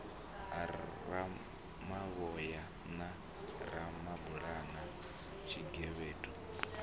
ha ramavhoya na ramabulana tshigevhedu